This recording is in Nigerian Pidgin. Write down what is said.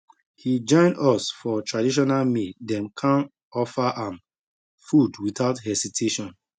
he join us for traditional meal dem kan offer am food without hesitation